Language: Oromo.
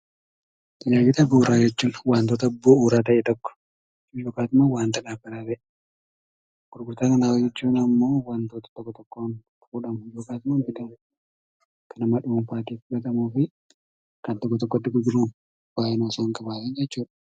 Tajaajila bu'uuraa jechuun waantota bu'uura ta'e tokko yookaan immoo waanta dhaabbataata'e, gurgurtaa qinxaaboo jechuun ammoo waantota tokko tokkoon gurguramu yookaas immoo bitamu, kan nama dhuunfaan bitamuu fi kan tokko tokkotti gurguramu baay'ina osoo hin qabaatiin jechuudha.